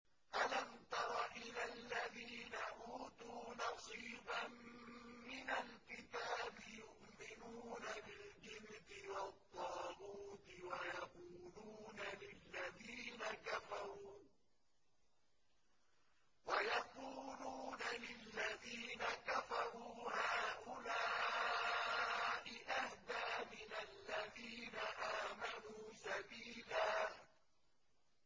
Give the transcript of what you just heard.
أَلَمْ تَرَ إِلَى الَّذِينَ أُوتُوا نَصِيبًا مِّنَ الْكِتَابِ يُؤْمِنُونَ بِالْجِبْتِ وَالطَّاغُوتِ وَيَقُولُونَ لِلَّذِينَ كَفَرُوا هَٰؤُلَاءِ أَهْدَىٰ مِنَ الَّذِينَ آمَنُوا سَبِيلًا